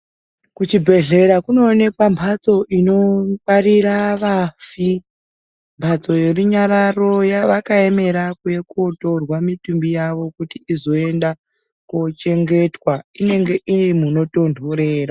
Kuzvibhedhlera kunooneka mphatso inongwarira vafi, mphatso yerunyararo vakaemera kuuya kootorwa mitumbi uavo kuti izoenda koochengetwa iro munotonhorera.